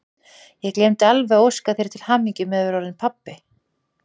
Ég gleymdi alveg að óska þér til hamingju með að vera orðinn pabbi!